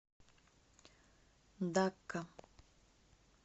дакка